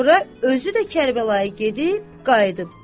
Sonra özü də Kərbəlaya gedib gəldi.